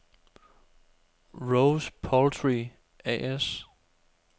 Rose Poultry A/S